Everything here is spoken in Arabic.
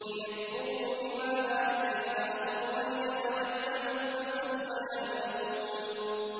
لِيَكْفُرُوا بِمَا آتَيْنَاهُمْ وَلِيَتَمَتَّعُوا ۖ فَسَوْفَ يَعْلَمُونَ